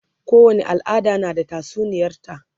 kowani al'ada na da tatsuniyar ta